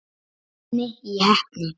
Keppni í heppni.